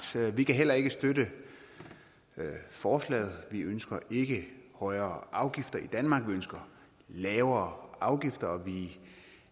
vi kan heller ikke støtte forslaget vi ønsker ikke højere afgifter i danmark vi ønsker lavere afgifter vi